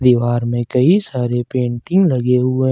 दीवार में कई सारे पेंटिंग लगे हुए--